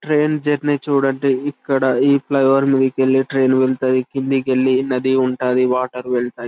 Train journey చుడండి ఇక్కడ ఈ ఫ్లైఓవర్ మీదికెళ్లి ట్రైన్ వెల్తది కిందికెళ్లి నది వేల్తది వాటర్ ఉంటది .